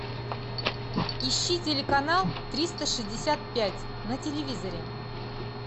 ищи телеканал триста шестьдесят пять на телевизоре